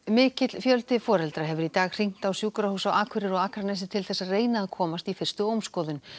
mikill fjöldi foreldra hefur í dag hringt á sjúkrahús á Akureyri og á Akranesi til þess að reyna að komast í fyrstu ómskoðun